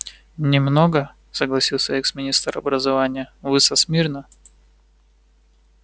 не много согласился экс-министр образования вы со смирно